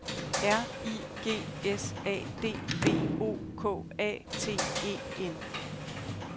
R I G S A D V O K A T E N